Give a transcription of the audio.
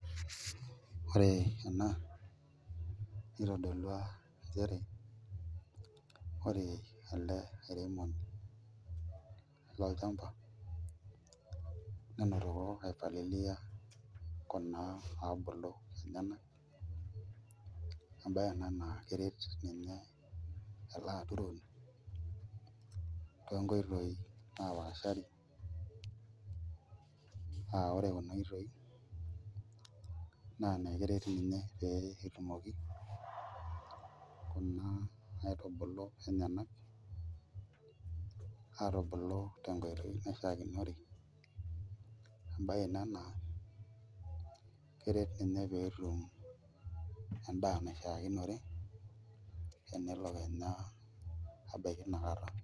Ore ena nitodolua nchere ore ele airemoni lolchamba nenotoko aipalilia kuna naabulu enyenak embaye ena naa keret ninye ele aturoni toonkoitoi naapaashari aa ore kuna oitoi naa keret ninye peyie etumoki kuna aitubulu enyenkak aatubulu tenkoitoi naishiakinore embaye ina naa keret ninye pee eret ninye pee etum endaa naishiakinore naa tinakata.